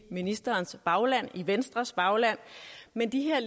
ministerens bagland venstres bagland men de her